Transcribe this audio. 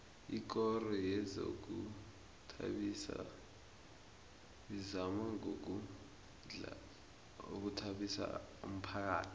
ikoro yezokuzithabisa izama ngamandla ukuthabisa umphakhathi